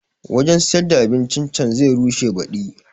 Wanjan siyar da abincin can zai rushe baɗi